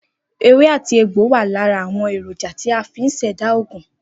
Ewé àti egbò wà lára àwon èrònja tí a fi n ṣẹ̀dá ògùn